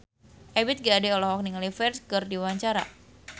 Ebith G. Ade olohok ningali Ferdge keur diwawancara